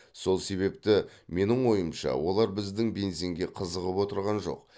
сол себепті менің ойымша олар біздің бензинге қызығып отырған жоқ